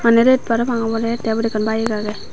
yen ret parapang obodey tey ubot ekkan bike agey.